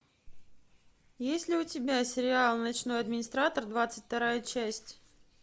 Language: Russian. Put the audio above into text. есть ли у тебя сериал ночной администратор двадцать вторая часть